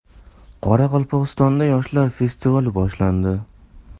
Qoraqalpog‘istonda yoshlar festivali boshlandi.